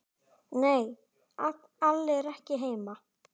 Nei, Alli er ekki heima.